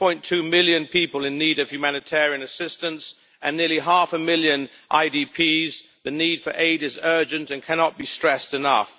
2.2 million people in need of humanitarian assistance and nearly half a million IDPs, the need for aid is urgent and cannot be stressed enough.